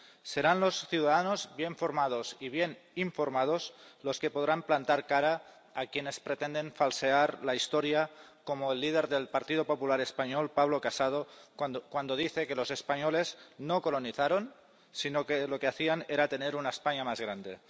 Serán los ciudadanos bien formados y bien informados los que podrán plantar cara a quienes pretenden falsear la historia, como el líder del Partido Popular español, Pablo Casado, cuando dice que los españoles no colonizaron, sino que lo que hacían era tener una España más grande.